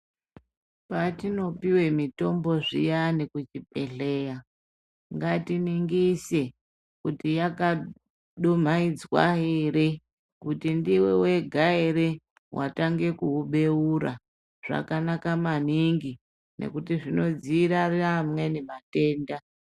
Patino piwe mitombo zviyani ku chibhedhleya ngati ningise kuti yaka dumaidzwa ere kuti ndiwe wega ere watanga kuwu beura zvakanaka maningi nekuti zvino dzivirira amweni matenda